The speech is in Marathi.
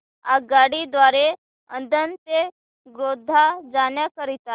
आगगाडी द्वारे आणंद ते गोध्रा जाण्या करीता